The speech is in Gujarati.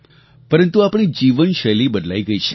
પરંતુ આપણી જીવનશૈલી બદલાઈ ગઈ છે